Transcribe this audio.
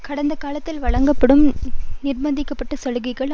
கடந்த காலத்தில் வழங்கும்படி நிர்ப்பந்திக்கப்பட்ட சலுகைகள்